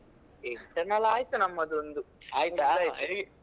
Internal ಆಯ್ತು ನಮ್ಮದೊಂದು